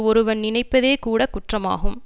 ஒருவன் நினைப்பதே கூட குற்றமாகும்